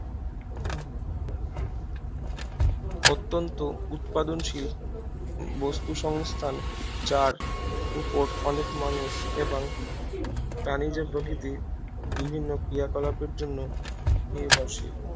অত্যন্ত উৎপাদনশীল বস্তুসংস্থান যার উপর অনেক মানুষ এবং প্রাণীজ প্রকৃতি বিভিন্ন ক্রিয়াকলাপের জন্য নির্ভরশীল